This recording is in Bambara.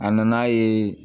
A nana ye